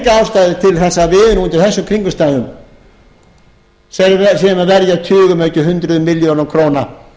ástæðu til að við nú undir þessum kringumstæðum séum að verja tugum ef ekki hundruðum milljónum króna